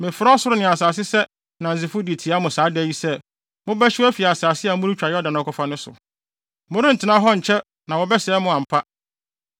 mefrɛ ɔsoro ne asase sɛ nnansefo de tia mo saa da yi sɛ, mobɛhyew afi asase a moretwa Yordan akɔfa no so. Morentena hɔ nkyɛ na wɔbɛsɛe mo ampa.